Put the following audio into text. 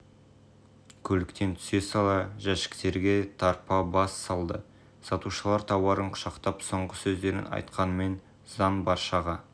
көліктен түсе сала жәшіктерге тарпа бас салды сатушылар тауарын құшақтап соңғы сөздерін айтқанымен заң баршаға